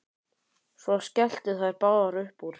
Svo skelltu þær báðar upp úr.